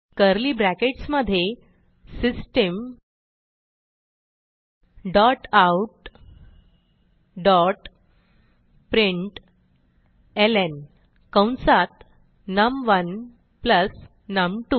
curly brackets मधे system dot out dot प्रिंटलं कंसात नम1 प्लस नम2